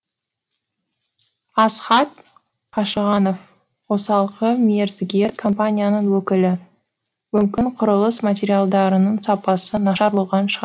асхат қашығанов қосалқы мердігер компанияның өкілі мүмкін құрылыс материалдарының сапасы нашар болған шығар